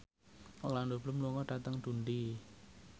Orlando Bloom lunga dhateng Dundee